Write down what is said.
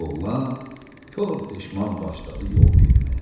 Oğlan kor peşman başladı yol getməyə.